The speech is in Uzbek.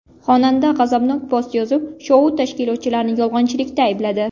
Xonanda g‘azabnok post yozib, shou tashkilotchilarini yolg‘onchilikda aybladi.